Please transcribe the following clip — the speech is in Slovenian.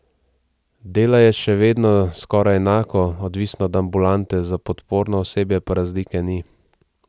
Dela je še vedno skoraj enako, odvisno od ambulante, za podporno osebje pa razlike ni.